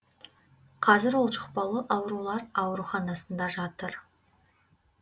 қазір ол жұқпалы аурулар ауруханасында жатыр